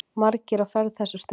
Margir á ferð þessa stundina.